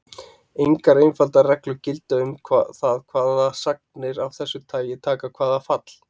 Engar einfaldar reglur gilda um það hvaða sagnir af þessu tagi taka hvaða fall.